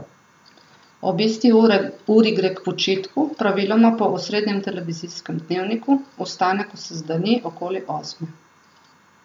Ob isti uri gre k počitku, praviloma po osrednjem televizijskem dnevniku, vstane, ko se zdani, okoli osme.